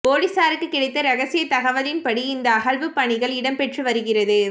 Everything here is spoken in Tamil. பொலிசாருக்கு கிடைத்த ரகசிய தகவலின் படி இந்த அகழ்வுப் பணிகள் இடம்பெற்று வருகிறது